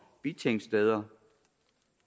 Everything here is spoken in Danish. bitingsteder